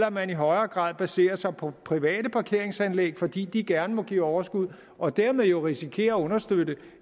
at man i højere grad baserer sig på private parkeringsanlæg fordi de gerne må give overskud og dermed risikerer at understøtte